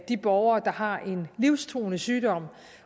de borgere der har en livstruende sygdom